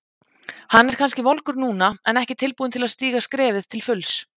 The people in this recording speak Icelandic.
Hann er kannski volgur núna en ekki tilbúinn til að stíga skrefið til fulls.